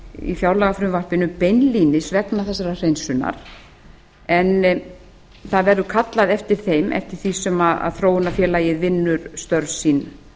í fjárlagafrumvarpinu beinlínis vegna þessarar hreinsunar en það verður kallað eftir þeim eftir því sem þróunarfélagið vinnur störf sín